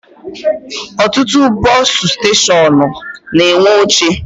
Ọtụtụ bọsụ steshọnụ na-enwe oche